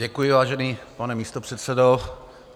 Děkuji, vážený pane místopředsedo.